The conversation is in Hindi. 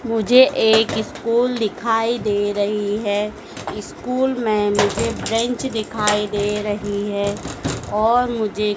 मुझे एक स्कूल दिखाई दे रही है स्कूल में मुझे बेंच दिखाई दे रही है और मुझे--